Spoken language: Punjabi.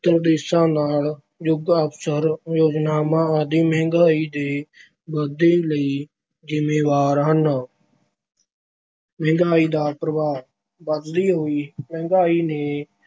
ਛਹੇਤਰ ਦੇਸ਼ਾਂ ਨਾਲ ਯੁੱਧ, ਅਸਫ਼ਲ ਯੋਜਨਾਵਾਂ ਆਦਿ ਮਹਿੰਗਾਈ ਦੇ ਵਾਧੇ ਲਈ ਜ਼ਿੰਮੇਵਾਰ ਹਨ। ਮਹਿੰਗਾਈ ਦਾ ਪ੍ਰਭਾਵ- ਵਧਦੀ ਹੋਈ ਮਹਿੰਗਾਈ ਨੇ